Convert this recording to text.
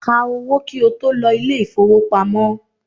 Ká owó kí o tó lọ ilé ìfowópamọ́!